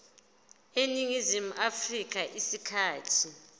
eningizimu afrika isikhathi